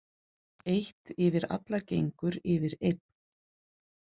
Eitt yfir allagengur yfir einn.